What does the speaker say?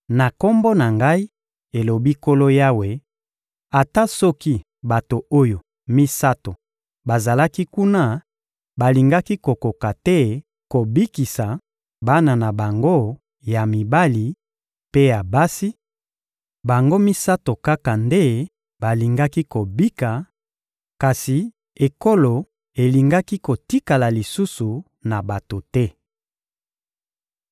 na Kombo na Ngai, elobi Nkolo Yawe, ata soki bato oyo misato bazalaki kuna, balingaki kokoka te kobikisa bana na bango ya mibali mpe ya basi; bango misato kaka nde balingaki kobika, kasi ekolo elingaki kotikala lisusu na bato te.